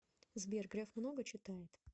сбер греф много читает